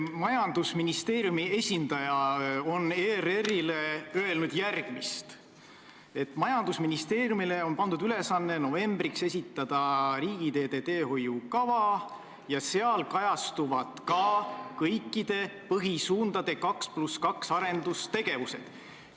Majandusministeeriumi esindaja on ERR-ile öelnud, et majandusministeeriumile on pandud ülesanne esitada novembriks riigiteede teehoiukava, milles kajastuvad ka kõikide põhisuundade 2 + 2 lõikude arendustegevused.